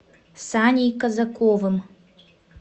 саней казаковым